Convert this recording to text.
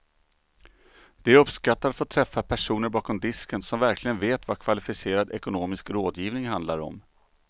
De uppskattar att få träffa personer bakom disken som verkligen vet vad kvalificerad ekonomisk rådgivning handlar om.